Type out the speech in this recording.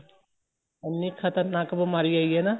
ਇੰਨੀ ਖ਼ਤਰਨਾਕ ਬੀਮਾਰੀ ਆਈ ਹੈ ਨਾ